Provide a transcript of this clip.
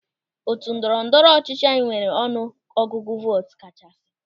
Otu ndọrọ ndọrọ ọchịchị anyị nwere ọnụ ọgụgụ vootu kachasị.